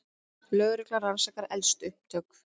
Lögreglan rannsakar eldsupptök